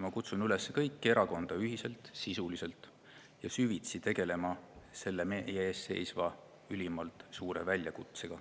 Ma kutsun üles kõiki erakondi ühiselt, sisuliselt ja süvitsi tegelema selle meie ees seisva ülimalt suure väljakutsega,